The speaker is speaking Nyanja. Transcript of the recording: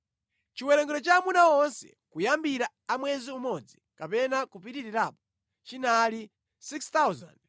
Chiwerengero cha amuna onse kuyambira a mwezi umodzi kapena kupitirirapo chinali 6,200.